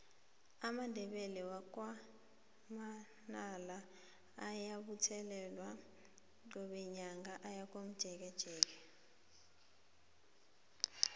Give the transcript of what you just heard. amandebele wakwa manala ayabuthelana qobe nyaka aye komjekejeke